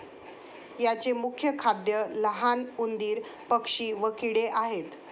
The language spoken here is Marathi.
याचे मुख्य खाद्य लहान उंदीर पक्षी व किडे आहेत